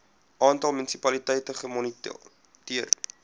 aantal munisipaliteite gemoniteer